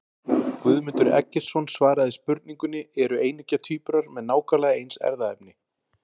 Guðmundur Eggertsson svaraði spurningunni Eru eineggja tvíburar með nákvæmlega eins erfðaefni?